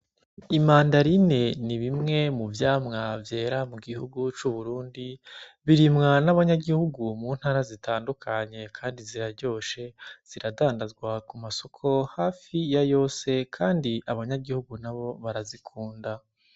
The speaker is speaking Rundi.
Imandarine ni bimwe mu vyamwa vyera mu gihugu c'Uburundi, birimwa n'abanyagihugu mu ntara zitandukanye kandi ziraryoshe, ziradandazwa ku masoko hafi ya yose kandi abanyagihugu nabo barazikunda.